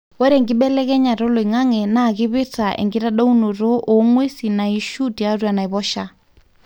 ore enkibelekenyata oloingange na kipirta enkitadounoto ongwesin naishu tiatua enaiposha.